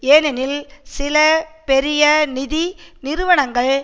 ஏனெனில் சில பெரிய நிதி நிறுவனங்கள்